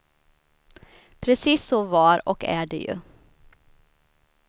Precis så var och är det ju.